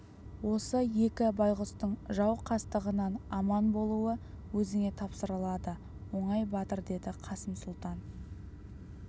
осы екі байғұстың жау қастығынан аман болуы өзіңе тапсырылады оңай батыр деді қасым сұлтан